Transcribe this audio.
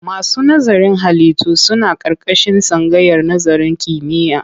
Masu nazarin ilimin halittu suna ƙarƙashin tsangayar nazarin kimiyya.